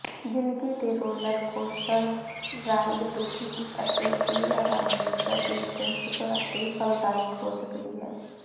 ਜ਼ਿੰਦਗੀ ਦੀ roller coaster ride ਦੁਖੀ ਅਤੇ ਬੇਅਰਾਮੀ ਜਾਂ ਦਿਲਚਸਪ ਅਤੇ ਫਲਦਾਇਕ ਹੋ ਸਕਦੀ ਹੈ